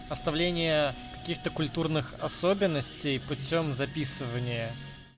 оставление каких-то культурных особенностей путём записывании